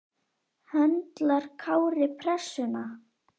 Höndlar Kári pressuna?